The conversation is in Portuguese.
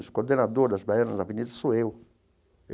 O coordenador das baianas da Avenida sou eu.